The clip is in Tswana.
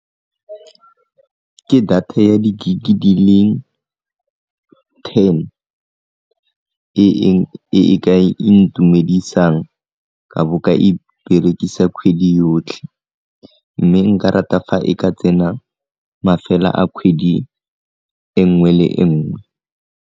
Ke data ya di-gig-e di le ten e e ka intumedisang ka bo ka e berekisa kgwedi yotlhe, mme nka rata fa e ka tsena mafela a kgwedi e nngwe le nngwe.